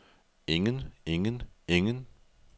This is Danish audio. ingen ingen ingen